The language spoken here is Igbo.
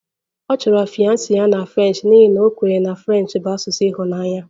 Ọ chọrọ fiance ya na French n'ihi na a kwenyere na French bụ asụsụ ịhụnanya